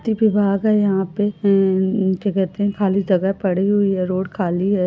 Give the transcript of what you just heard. है यहां खाली जगह पड़ी हुई है रोड खाली है।